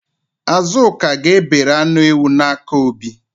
Azụka ga-ebere anụ ewu n'aka Obi